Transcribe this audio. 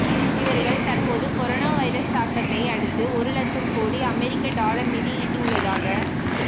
இவர்கள் தற்போது corona virus தாக்கத்தை அடுத்து ஒரு லட்சம் கோடி அமெரிக்க டாலர் நிதி ஈட்டியுள்ளதாக